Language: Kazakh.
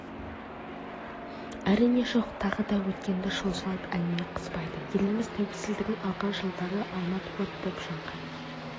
әрине жоқ тағы да өткенді шолмай әңгіме қызбайды еліміз тәуелсіздігін алған жылдары алмат от боп жанған